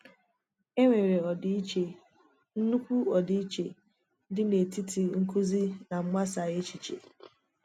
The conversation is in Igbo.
E nwere ọdịiche—nnukwu ọdịiche—dị n’etiti nkụzi na mgbasa èchìchè.